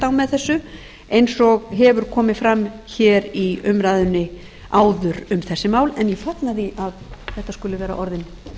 með þessu eins og hefur komið fram í umræðunni áður um þessi mál en ég fagna því að þetta skuli vera orðin